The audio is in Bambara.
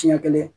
Siɲɛ kelen